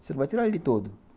Você não vai tirar ele todo.